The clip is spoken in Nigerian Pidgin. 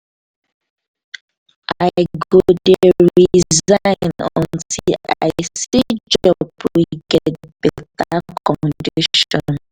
i go dey resign until i see job wey get beta conditions.